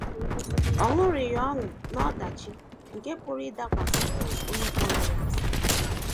Ọ ṅụrịghị ọṅụ n’ọdachi nke pụrụ ịdakwasị onye kpọrọ ya asị.